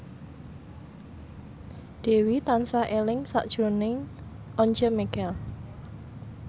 Dewi tansah eling sakjroning Once Mekel